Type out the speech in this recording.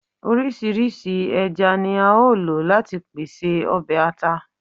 Oriṣiriṣi ẹja ni ao lo lati pese ọbẹ ata